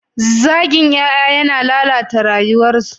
Zagin ƴaƴa yana lalata rayuwarsu.